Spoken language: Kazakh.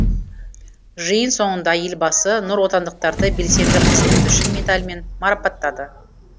жиын соңында елбасы нұротандықтарды белсенді қызметі үшін медалімен марапаттады